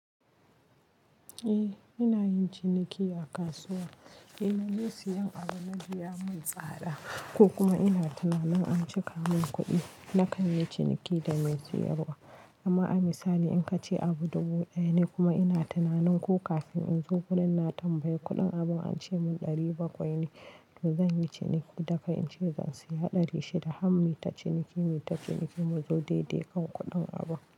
Eh ina yin ciniki a kasuwa, in naje seyan abu naga ya mun tsada ko kuma ina tunanin an cika mun kuɗi na kai ni ciniki da mai siyarwa. Ama a misali in ka ce abu dubu ɗaya ne kuma ina tunanin ko kafin in zo gurin na tambayi kuɗin abun an ce mun ɗari bakwai ne to zan yi ciniki da kai in ce zan siya ɗari shida har muyi ta ciniki, mu zo daidai kan kuɗin abun.